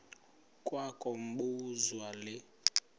kwa kobuzwa le